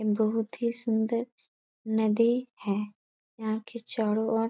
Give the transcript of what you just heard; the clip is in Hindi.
बहुत ही सुंन्दर नदी है यहाँ के चारो और--